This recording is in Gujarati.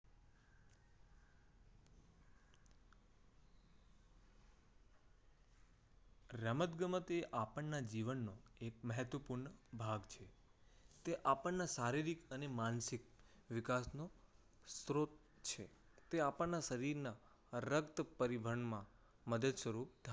રમતગમતની આપણને જીવનમાં મહત્વપૂર્ણ ભાગ છે. તે આપણને શારીરિક અને માનસિક વિકાસનો સ્ત્રોત છે. તે આપણને શરીરના રક્ત પરિવહનમાં મદદ સ્વરૂપ